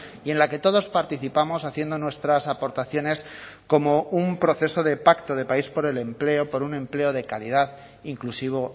y en la que todos participamos haciendo nuestras aportaciones como un proceso de pacto de país por el empleo por un empleo de calidad inclusivo